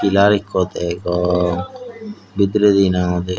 pillar ekko degong bidirendi he nang hoide.